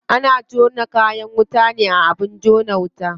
Ana jona kayan wuta ne a abin jona wuta.